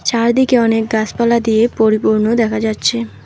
চারদিকে অনেক গাসপালা দিয়ে পরিপূর্ণ দেখা যাচ্ছে।